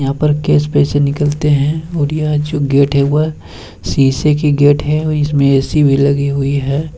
यहाँ पर कैश पैसे निकलते है और यह जो गेट है वो शीशे की गेट है और इसमें ए.सी. भी लगी हुई है।